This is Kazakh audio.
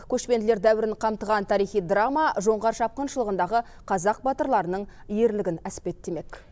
көшпенділер дәуірін қамтыған тарихи драма жоңғар шапқыншылығындағы қазақ батырларының ерлігін әспеттемек